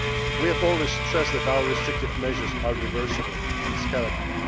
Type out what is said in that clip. We have always stressed that our restrictive measures are reversible and scalable